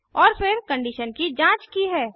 और फिरकंडीशन की जांच की है